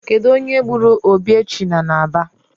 Kedu onye gburu Obiechina n'Aba